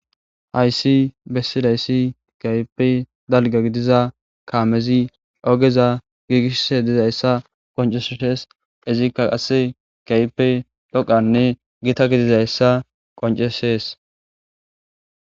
aysi bessilayssi kaype dalga gidiza kaamezi ogeza giigishshe dizayssa qoncesshees izikka qasse kaype dhoqanne gita gidizayssa qoncesees